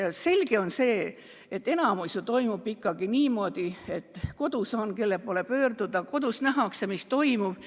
Ja selge on, et enamikus on ikkagi niimoodi, et kodus on, kelle poole pöörduda, et kodus nähakse, mis toimub.